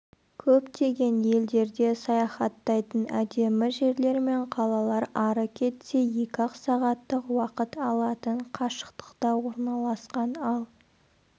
көптеген елдерде саяхаттайтын әдемі жерлер мен қалалар ары кетсе екі-ақ сағаттық уақыт алатын қашықтықта орналасқан ал